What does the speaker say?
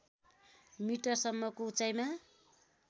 metre सम्मको उचाइमा